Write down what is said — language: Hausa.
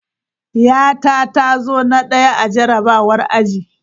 Yata ta zo na daya a jarrabawar aji.